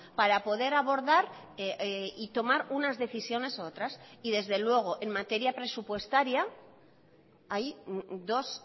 para poder abordar y tomar unas decisiones u otras y desde luego en materia presupuestaria hay dos